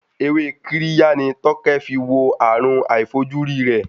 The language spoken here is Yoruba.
Ewé Kirya ni Tókẹ́ fi wo àrùn àìfojúrí rẹ̀.